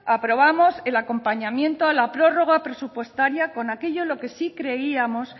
aprobamos el acompañamiento a la prórroga presupuestaria con aquello en lo que sí creíamos